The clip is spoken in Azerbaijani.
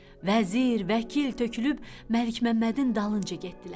Vəzir, vəkil tökülüb Məlikməmmədin dalınca getdilər.